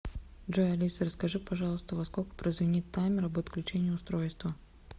джой алиса расскажи пожалуйста во сколько прозвенит таймер об отключении устройства